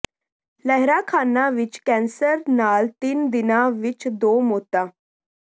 ਲਹਿਰਾ ਖਾਨਾ ਵਿੱਚ ਕੈਂਸਰ ਨਾਲ ਤਿੰਨ ਦਿਨਾਂ ਵਿੱਚ ਦੋ ਮੌਤਾਂ